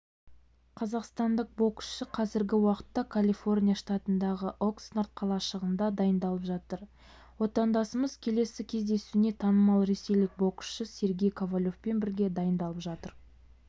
қазақстандық боксшы қазіргі уақытта калифорния штатындағы окснард қалашығында дайындалып жатыр отандасымыз келесі кездесуіне танымал ресейлік боксшы сергей ковалевпен бірге дайындалып жатыр